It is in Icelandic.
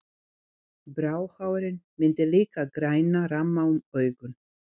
Bráhárin mynda líka græna ramma um augun.